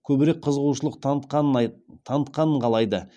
көбірек қызығушылық танытқанын қалайды